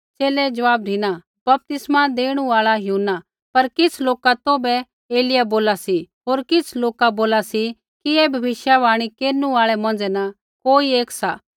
च़ेले ज़वाब धिना बपतिस्मै देणु आल़ा यूहन्ना पर किछ़ लोका तौभै एलिय्याह बोला सी होर किछ़ लोका बोला सी कि ऐ भविष्यवाणी केरनु आल़ै मौंझ़ै न कोई एक सा